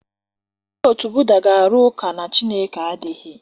Ndị otu Buda ga-arụ ụka na Chineke adịghị.